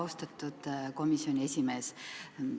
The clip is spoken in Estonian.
Austatud komisjoni esimees!